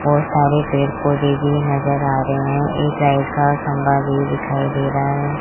बहुत सारे पेड़ पौधे भी नजर आ रहे हैं एक लाइट का खंभा भी दिखाई दे रहा है।